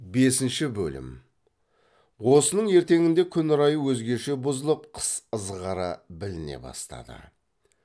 бесінші бөлім осының ертеңінде күн райы өзгеше бұзылып қыс ызғары біліне бастады